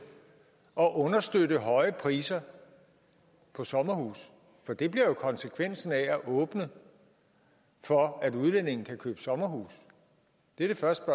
at understøtte høje priser på sommerhuse for det bliver jo konsekvensen af at åbne for at udlændinge kan købe sommerhuse det er det første